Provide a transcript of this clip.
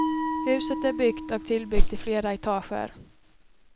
Huset är byggt och tillbyggt i flera etager.